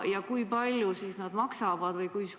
Ja kui palju need maksavad?